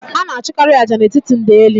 A na achụkarị ájá n'etiti ndeli